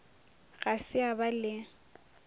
ga se a ba le